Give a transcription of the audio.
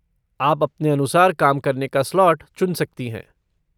आप अपने अनुसार काम करने का स्लॉट चुन सकती हैं।